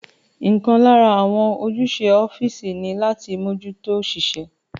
Ọ̀kan lára àwọn ojúṣe ọ́físì ní láti mójútó òṣìṣẹ́